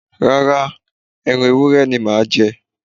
Rárá, ẹran ewúrẹ́ ni màá jẹ